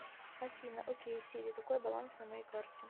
афина окей сири какой баланс на моей карте